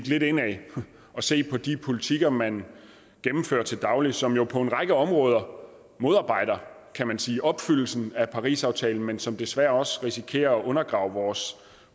lidt indad og se på de politikker man gennemfører til daglig som jo på en række områder modarbejder kan man sige opfyldelsen af parisaftalen men som desværre også risikerer at undergrave vores